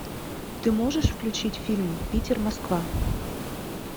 ты можешь включить фильм питер москва